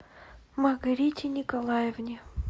маргарите николаевне